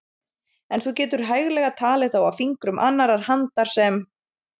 En þú getur hæglega talið þá á fingrum annarrar handar sem